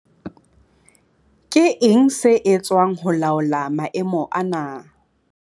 Ke eng se etswang ho laola maemo ana?